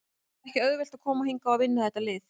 Það er ekki auðvelt að koma hingað og vinna þetta lið.